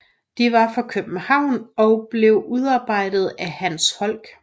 De var for København og blev udarbejdet af Hans Holck